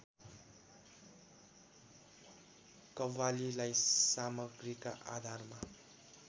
कव्वालीलाई सामग्रीका आधारमा